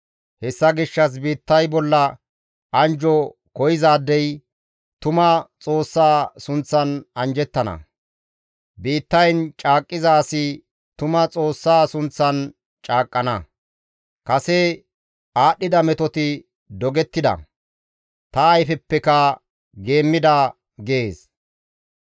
Hessa gishshas biittay bolla anjjo koyzaadey tuma Xoossa sunththan anjjettana; biittayn caaqqiza asi tuma Xoossa sunththan caaqqana; kase aadhdhida metoti dogettida; ta ayfeppekka geemmida» gees.